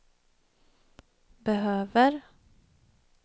behöver